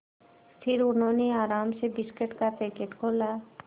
फिर उन्होंने आराम से बिस्कुट का पैकेट खोला